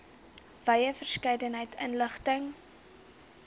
wye verskeidenheid inligting